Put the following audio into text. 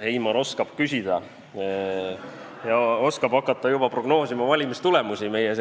Heimar oskab küsida ja oskab hakata juba prognoosima valimistulemusi meie